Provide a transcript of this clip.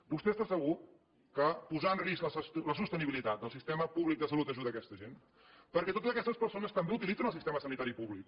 vostè està segur que posar en risc la sostenibilitat del sistema públic de salut ajuda aquesta gent perquè totes aquestes persones també utilitzen el sistema sanitari públic